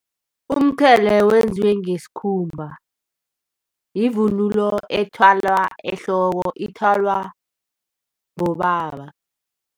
Umqhele wenziwe ngesikhumba, yivunulo ethwalwa ehloko ithwalwa bobaba.